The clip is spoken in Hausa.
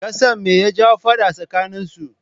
Kasan me ya jawo faɗa tsakanin su?